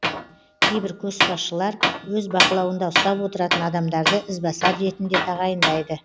кейбір көшбасшылар өз бақылауында ұстап отыратын адамдарды ізбасар ретінде тағайындайды